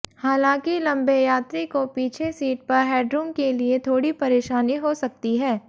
हालांकि लंबे यात्री को पीछे सीट पर हेडरूम के लिए थोड़ी परेशानी हो सकती है